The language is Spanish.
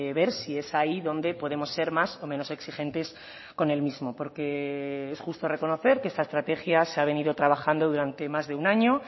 ver sí es ahí donde podemos ser más o menos exigentes con el mismo porque es justo reconocer que esta estrategia se ha venido trabajando durante más de un año